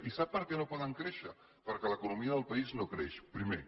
i sap per què no poden créixer perquè l’economia del país no creix primer